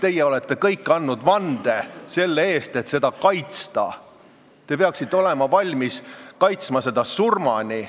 Te olete kõik andnud vande, et seda kaitsta, te peaksite olema valmis kaitsma seda surmani.